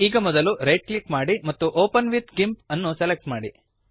ಈಗ ಮೊದಲು right click ಮಾಡಿ ಮತ್ತು ಒಪೆನ್ ವಿತ್ ಗಿಂಪ್ ಅನ್ನು ಸೆಲೆಕ್ಟ್ ಮಾಡಿ